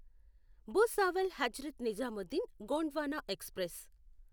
Bhusawal Hazrat Nizamuddin Gondwana express